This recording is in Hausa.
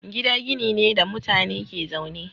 Gida gini ne da mutane ke zaune.